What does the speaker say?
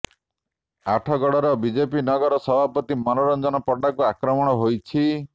ଆଠଗଡର BJP ନଗର ସଭାପତି ମନୋରଞ୍ଜନ ପଣ୍ଡାଙ୍କୁ ଆକ୍ରମଣ ହୋଇଛି